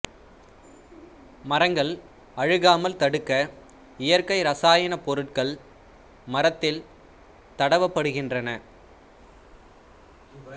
மரங்கள் அழுகாமல் தடுக்க இயற்கை இரசாயன பொருட்கள் மரத்தில் தடவப்படுகின்றன